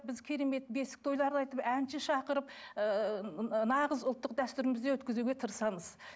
біз керемет бесік тойларды айтып әнші шақырып ыыы нағыз ұлттық дәстүрімізде өткізуге тырысамыз